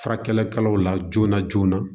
Furakɛlikɛlaw la joona joona